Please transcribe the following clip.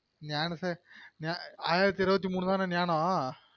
ஞான சே ஆயிரத்து இருபத்து மூனு தான ஞானம்